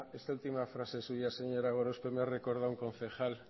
esta última frase suya señora gorospe me ha recordado a un concejal